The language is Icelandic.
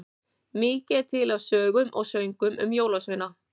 Mikið er til af sögum og söngvum um jólasveina.